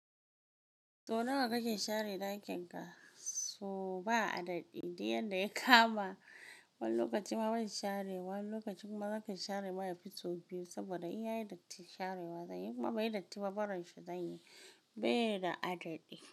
To nawa kake share dakin ka? So ba a daɗi, duk yanda ya kama. Wani lokaci ma ban share, wani lokacin ma na kashi share baya fito biyu saboda in yayi datti sharewa zanyi. Kuma ba yi datti barin shi zanyi. Ba yi da adaɗi.